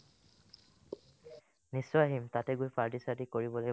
নিশ্চয় আহিম তাতে গৈ party চাৰ্টি কৰিব লাগিব